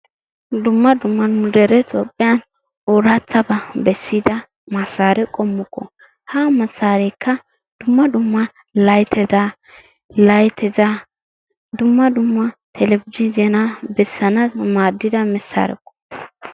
Dumma dumma nu dere Toophphiyan oorattabaa bessida massaare qommokko. Ha massaareekka dumma dumma layttata, layttata dumma dumma telebije zeenaa bessanadan maaddida massaarekko.